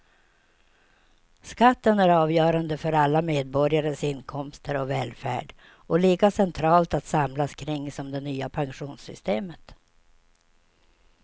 Skatten är avgörande för alla medborgares inkomster och välfärd och lika centralt att samlas kring som det nya pensionssystemet.